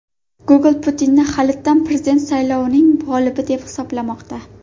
Google Putinni halitdan prezident saylovining g‘olibi deb hisoblamoqda.